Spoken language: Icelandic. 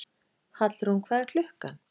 Hallrún, hvað er klukkan?